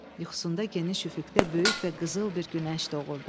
Yuxusunda geniş üfüqdə böyük və qızıl bir günəş doğurdu.